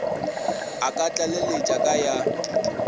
a ka tlaleletša ka ya